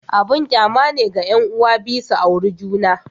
Abun kyama ne ga 'yan'uwa biyu su auri juna.